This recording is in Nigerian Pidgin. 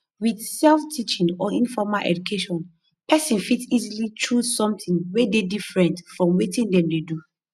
with self teaching or informal education person fit easily choose something wey dey differnt from wetin dem dey do